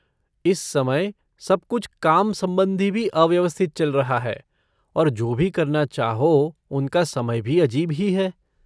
इस समय सब कुछ काम संबंधी भी अव्यवस्थित चल रहा है और जो भी करना चाहो उनका समय भी अजीब ही है।